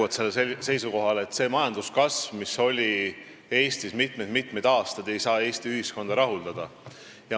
Ma olen endiselt seisukohal, et see majanduskasv, mis oli Eestis mitmed-mitmed aastad, ei saa Eesti ühiskonda rahuldada.